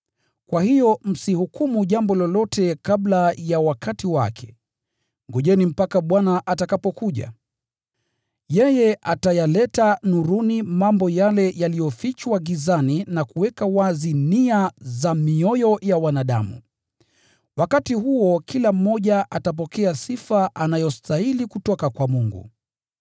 Kwa hiyo msihukumu jambo lolote kabla ya wakati wake. Ngojeni mpaka Bwana atakapokuja. Yeye atayaleta nuruni mambo yale yaliyofichwa gizani, na kuweka wazi nia za mioyo ya wanadamu. Wakati huo kila mmoja atapokea sifa anayostahili kutoka kwa Mungu.